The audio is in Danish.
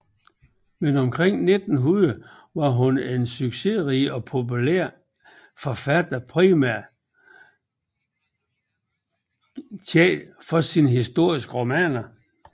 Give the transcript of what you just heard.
Men omkring 1900 var hun en succesrig og populær forfatter primært kendt for sine historiske romaner